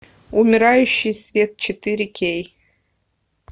умирающий свет четыре кей